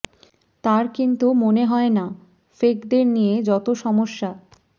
তাঁর কিন্তু মনে হয় না ফেকদের নিয়ে যত সমস্যা